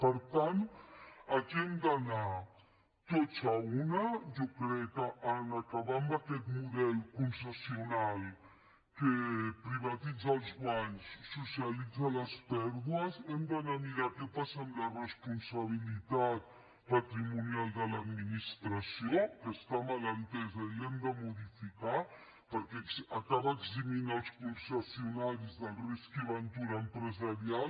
per tant aquí hem d’anar tots a una jo crec en acabar amb aquest model concessional que privatitza els guanys socialitza les pèrdues hem d’anar a mirar què passa amb la responsabilitat patrimonial de l’administració que està mal entesa i l’hem de modificar perquè acaba eximint els concessionaris del risc i ventura empresarial